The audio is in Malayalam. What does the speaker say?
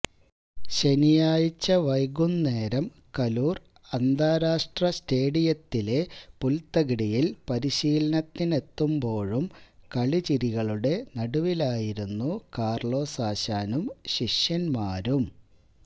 ശനിയാഴ്ച വൈകുന്നേരം കലൂര് അന്താരാഷ്ട്ര സ്റ്റേഡിയത്തിലെ പുല്ത്തകിടിയില് പരിശീലനത്തിനെത്തുമ്പോഴും കളിചിരികളുടെ നടുവിലായിരുന്നു കാര്ലോസ് ആശാനും ശിഷ്യന്മാരും